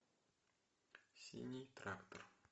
синий трактор